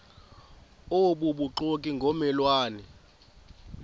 obubuxoki ngomme lwane